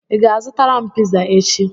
ị ga-azụtara m piza echi?